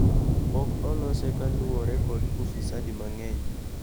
Pok olose ka luore kod ufisadi mang'eny